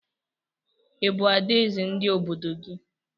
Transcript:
Ị bụ adaeze ndị obodo gị?